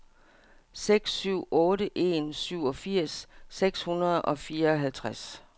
seks syv otte en syvogfirs seks hundrede og fireoghalvtreds